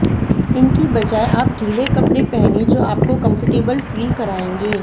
इनकी बजाय आप ढीले कपड़े पहनें जो आपको कम्फर्टेबल फील कराएंगे